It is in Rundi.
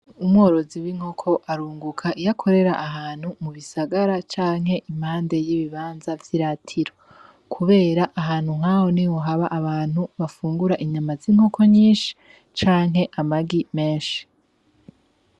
Umworozi w'inkoko arunguka iyo akorera ahantu mu bisagara canke impande y'ibibanza vy'iratiro, kubera ahantu nk'aho niho haba abantu bafungura inyama z'inkoko nyinshi canke amagi menshi.